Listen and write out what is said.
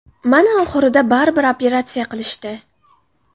Mana oxirida baribir operatsiya qilishdi.